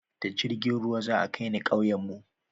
da jirgin ruwa za a kai ni kauyen mu